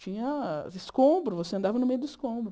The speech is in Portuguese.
Tinha escombro, você andava no meio do escombro.